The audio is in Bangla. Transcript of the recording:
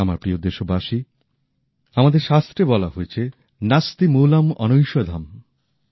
আমার প্রিয় দেশবাসী আমাদের শাস্ত্রে বলা হয়েছে নাস্তি মূলম্ অনৈষেধম